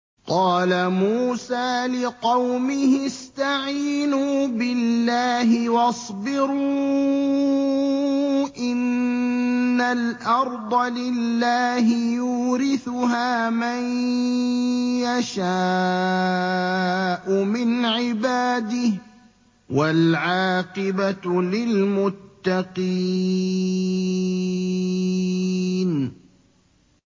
قَالَ مُوسَىٰ لِقَوْمِهِ اسْتَعِينُوا بِاللَّهِ وَاصْبِرُوا ۖ إِنَّ الْأَرْضَ لِلَّهِ يُورِثُهَا مَن يَشَاءُ مِنْ عِبَادِهِ ۖ وَالْعَاقِبَةُ لِلْمُتَّقِينَ